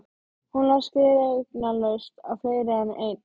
Hún las gleraugnalaust á fleiri en einn